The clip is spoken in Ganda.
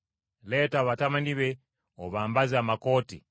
Leeta batabani be obambaze amakooti,